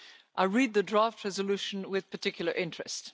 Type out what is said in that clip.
I read the draft resolution with particular interest.